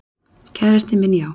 Kærastinn minn, já.